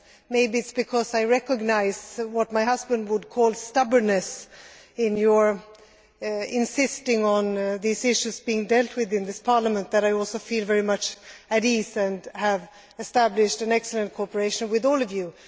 Maybe it is because I recognise what my husband would call stubbornness in your insisting on these issues being dealt with in this Parliament that I also feel very much at ease and have established excellent cooperation with all of you.